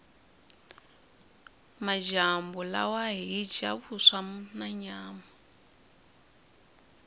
majambu lawa hhija vuswa nanyama